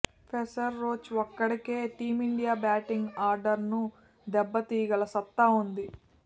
pacer Roach ఒక్కడికే team India batting ఆర్డర్ను దెబ్బతీయగల సత్తా ఉంది